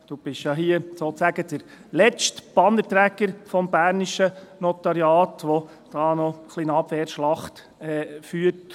Du bist ja hier sozusagen der letzte Bannerträger des bernischen Notariats, der hier noch ein wenig eine Abwehrschlacht führt.